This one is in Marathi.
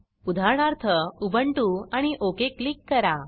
उदाहरणार्थ उबंटु आणि ओक क्लिक करा